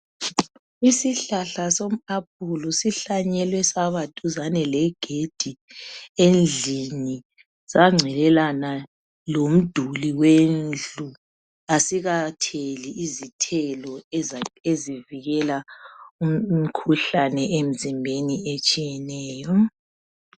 Isihlahla soApulu sihlanyelwe saba duzane legedi endlini sangcelelana lomduli wendlu asikatheli izithelo eza ezivikela umkhuhlane emzimbeni etshiyeneyo .